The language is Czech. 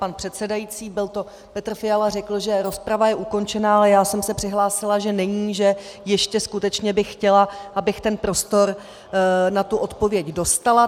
Pan předsedající, byl to Petr Fiala, řekl, že rozprava je ukončena, ale já jsem se přihlásila, že není, že ještě skutečně bych chtěla, abych ten prostor na tu odpověď dostala.